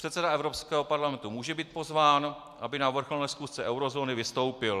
Předseda Evropského parlamentu může být pozván, aby na vrcholné schůzce eurozóny vystoupil.